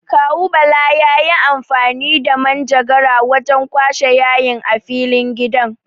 Kawu Bala yayi amfani da manjagara wajen kwashe yayin a filin gidan.